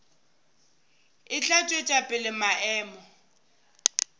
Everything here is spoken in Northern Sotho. e tla tšwetša pele maemo